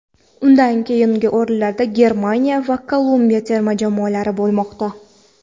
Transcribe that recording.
Undan keyingi o‘rinlarda Germaniya va Kolumbiya terma jamoalari bormoqda.